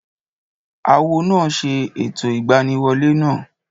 Awo náà ṣe ẹ̀tọ́ ìgbaniwolẹ́ náà